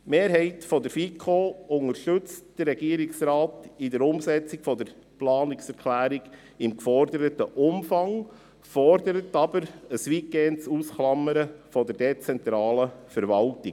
Die Mehrheit der FiKo unterstützt den Regierungsrat in der Umsetzung der Planungserklärung im geforderten Umfang, fordert aber ein weitgehendes Ausklammern der dezentralen Verwaltung.